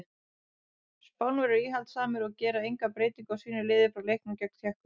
Spánverjar eru íhaldssamir og gera enga breytingu á sínu liði frá leiknum gegn Tékkum.